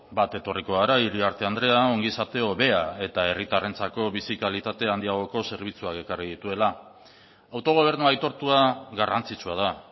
bat etorriko gara iriarte andrea ongizate hobea eta herritarrentzako bizi kalitate handiagoko zerbitzuak ekarri dituela autogobernua aitortua garrantzitsua da